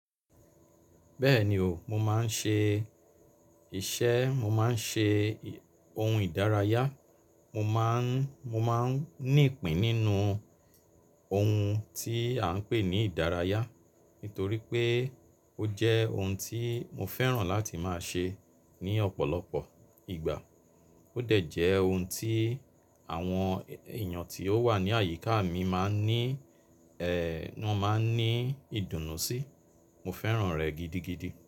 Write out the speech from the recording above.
Bẹ́ẹ̀ni o, mo máa ń ṣe iṣẹ́, mo máa ń ṣe ohun ìdárayá, mo máa ń, mo máa ń ní ìpín nínú ohun tí à ń pè ní ìdárayá. Nítorí pé ó jẹ́ ohun tí mo fẹ́ràn láti máa ṣe ní ọ̀pọ̀lọpọ̀ ìgbà. Ó dẹ̀ jẹ́ ohun tí àwọn èèyàn tí ó wà ní àyíká mi máa ń ní ẹ̀, wọn máa ń ní ìdùnnú sí. Mo fẹ́ràn rẹ̀ gidigidi.